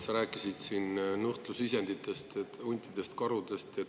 Sa rääkisid siin nuhtlusisenditest: huntidest, karudest.